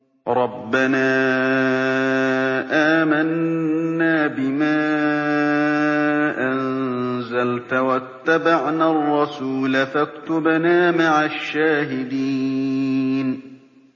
رَبَّنَا آمَنَّا بِمَا أَنزَلْتَ وَاتَّبَعْنَا الرَّسُولَ فَاكْتُبْنَا مَعَ الشَّاهِدِينَ